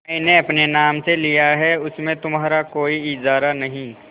मैंने अपने नाम से लिया है उसमें तुम्हारा कोई इजारा नहीं